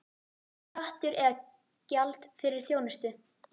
Skattur eða gjald fyrir þjónustu?